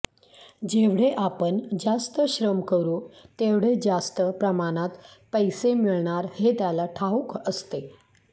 जेवढे आपण जास्त श्रम करू तेवढे जास्त प्रमाणात पैसे मिळणार हे त्याला ठाऊक असते